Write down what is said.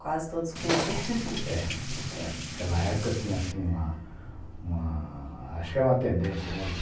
Quase todos com E. É. Aquela época tinha, assim, uma... uma... acho que era uma tendência, né?